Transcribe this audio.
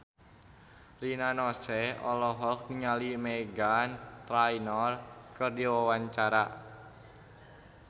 Rina Nose olohok ningali Meghan Trainor keur diwawancara